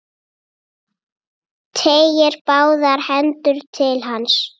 Teygir báðar hendur til hans.